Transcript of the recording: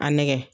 A nɛgɛ